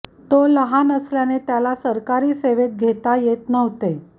तो लहान असल्याने त्याला सरकारी सेवेत घेता येत नव्हते